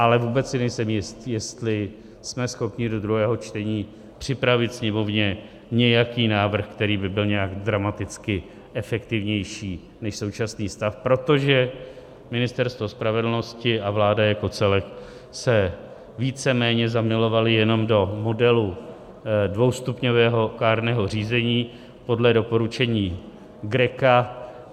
Ale vůbec si nejsem jist, jestli jsme schopni do druhého čtení připravit Sněmovně nějaký návrh, který by byl nějak dramaticky efektivnější než současný stav, protože Ministerstvo spravedlnosti a vláda jako celek se víceméně zamilovaly jenom do modelu dvoustupňového kárného řízení podle doporučení GRECO.